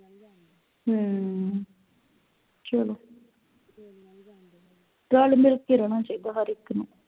ਹਮ ਚਲੋ ਰੱਲ ਮਿਲ ਕੇ ਰਹਿਣਾ ਚਾਹੀਦਾ ਹਰ ਇਕ ਨੂੰ